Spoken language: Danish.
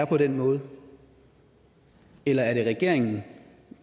på den måde eller er det regeringen